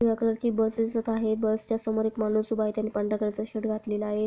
पिवळ्या कलर ची बस दिसत आहे बसच्या समोर एक माणूस उभा आहे त्यांनी पांढरा कलर चा शर्ट घातलेला आहे.